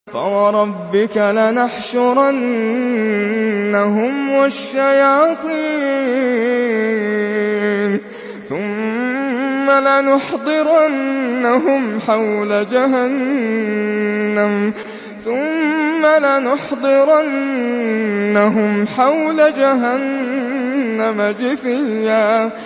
فَوَرَبِّكَ لَنَحْشُرَنَّهُمْ وَالشَّيَاطِينَ ثُمَّ لَنُحْضِرَنَّهُمْ حَوْلَ جَهَنَّمَ جِثِيًّا